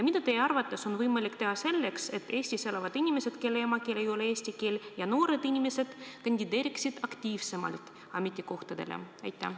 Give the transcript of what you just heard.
Mida teie arvates on võimalik teha selleks, et Eestis elavad inimesed, kelle emakeel ei ole eesti keel, ja noored inimesed kandideeriksid aktiivsemalt avaliku sektori ametikohtadele?